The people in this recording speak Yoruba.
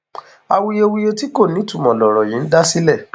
awuyewuye tí kò nítumọ lọrọ yìí ń dá sílẹ